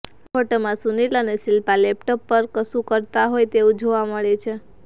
આ ફોટામાં સુનિલ અને શિલ્પા લેપટોપ પર કશું કરતાં હોય તેવું જોવા મળે છે